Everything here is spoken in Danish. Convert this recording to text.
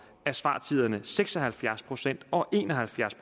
er svartiderne seks og halvfjerds procent og en og halvfjerds